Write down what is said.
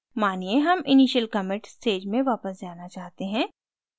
मानिये हम initial commit stage में वापस जाना चाहते हैं